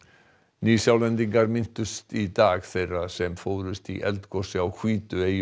Nýsjálendingar minntust í dag þeirra sem fórust í eldgosi á